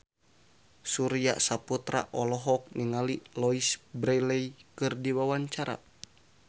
Surya Saputra olohok ningali Louise Brealey keur diwawancara